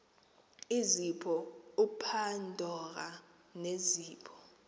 izipho upandora nezipho